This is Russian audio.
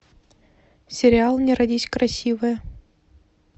сериал не родись красивая